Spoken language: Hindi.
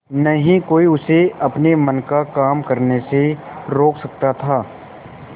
न ही कोई उसे अपने मन का काम करने से रोक सकता था